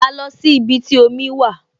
A lọ sí ibi tí omi wà